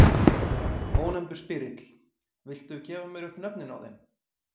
Ónefndur spyrill: Viltu gefa mér upp nöfnin á þeim?